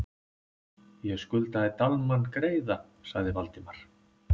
. ég skuldaði Dalmann greiða sagði Valdimar.